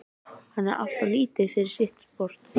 Hann er alltof lítill fyrir sitt sport.